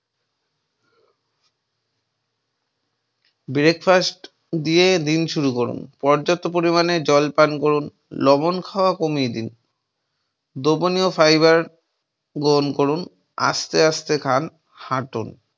breakfast দিয়ে দিন শুরু করুন, পর্যাপ্ত পরিমাণে জল পান করুন, লবণ খাওয়া কমিয়ে দিন, দ্রবণীয়য় ফাইবার গ্রহণ করুন, আস্তে আস্তে খান, হাটুন।